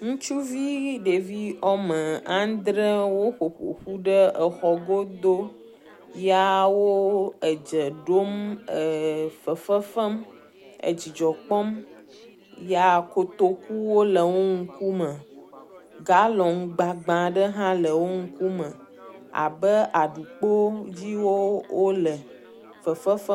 Ŋutsuvi ɖevi woame andre woƒo ƒu ƒo ƒu ɖe exɔ godo ya wooo edze ɖom eee fefe fem edzidzɔ kpɔm ya kotokuwo le wo ŋkume. Gallon gbagbã ɖe hã le wo ŋkume abe aɖukpoo dzii woo wole fefe fe…